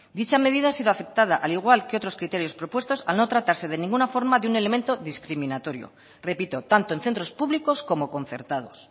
dicha medida ha sido aceptada al igual que otros criterios propuestos al no tratarse de ninguna forma de un elemento discriminatorio repito tanto en centros públicos como concertados